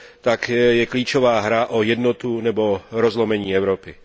tak je klíčová hra o jednotu nebo rozlomení Evropy.